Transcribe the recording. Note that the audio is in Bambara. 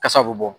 Kasa bɛ bɔ